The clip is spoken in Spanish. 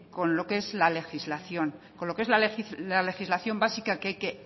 con lo que es la legislación con lo que es la legislación básica que hay que